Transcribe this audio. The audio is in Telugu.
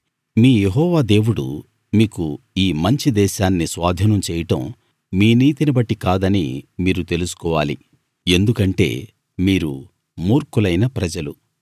మీ యెహోవా దేవుడు మీకు ఈ మంచి దేశాన్ని స్వాధీనం చేయడం మీ నీతిని బట్టి కాదని మీరు తెలుసుకోవాలి ఎందుకంటే మీరు మూర్ఖులైన ప్రజలు